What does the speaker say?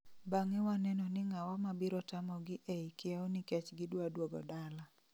bange waneno ni ng'awa mabiro tamogi ee kieo nikech gidwa duogo dala